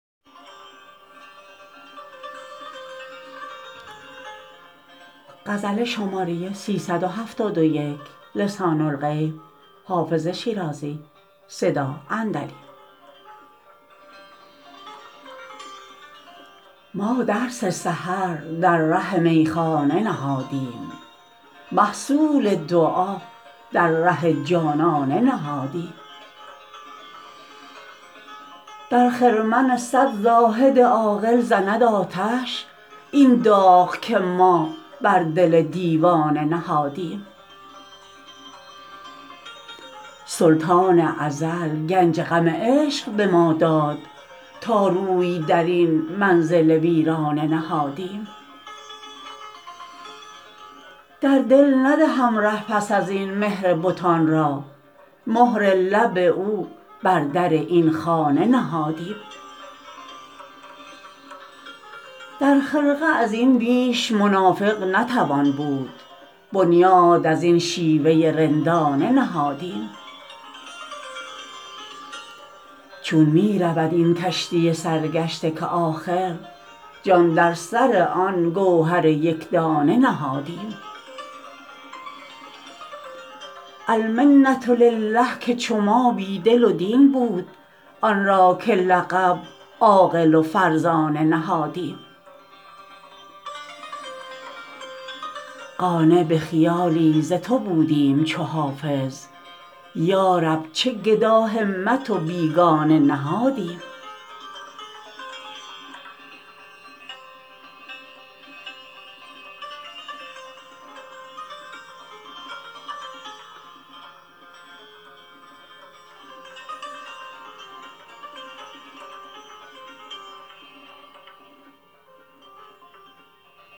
ما درس سحر در ره میخانه نهادیم محصول دعا در ره جانانه نهادیم در خرمن صد زاهد عاقل زند آتش این داغ که ما بر دل دیوانه نهادیم سلطان ازل گنج غم عشق به ما داد تا روی در این منزل ویرانه نهادیم در دل ندهم ره پس از این مهر بتان را مهر لب او بر در این خانه نهادیم در خرقه از این بیش منافق نتوان بود بنیاد از این شیوه رندانه نهادیم چون می رود این کشتی سرگشته که آخر جان در سر آن گوهر یک دانه نهادیم المنة لله که چو ما بی دل و دین بود آن را که لقب عاقل و فرزانه نهادیم قانع به خیالی ز تو بودیم چو حافظ یا رب چه گداهمت و بیگانه نهادیم